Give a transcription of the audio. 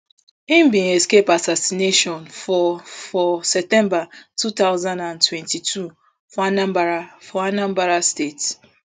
im bin escape assignation for for september two thousand and twenty-two for anambra for anambra state